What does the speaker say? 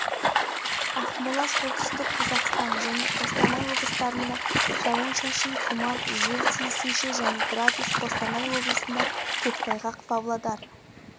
жамбыл оңтүстік қазақстан және қызылорда облыстарында күндіз ауа райы жауын-шашынсыз және градус жамбыл және қызылорда облыстарында